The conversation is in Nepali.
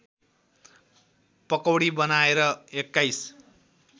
पकौडी बनाएर २१